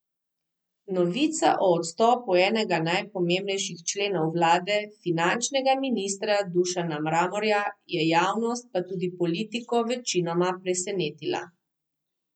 Novica o odstopu enega najpomembnejših členov vlade, finančnega ministra Dušana Mramorja, je javnost, pa tudi politiko večinoma presenetila.